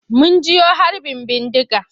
Mun jiyo harbin bindiga.